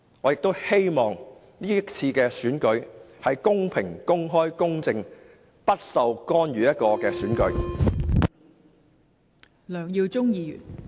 我亦希望今次的選舉是公平、公開、公正，不受干預的選舉。